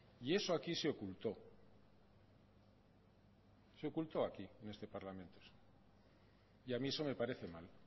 y eso aquí se ocultó se ocultó aquí en este parlamento y a mí eso me parece mal